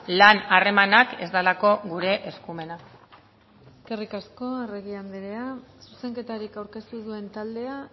lan harremanak ez delako gure eskumena eskerrik asko arregi andrea zuzenketarik aurkeztu ez duen taldea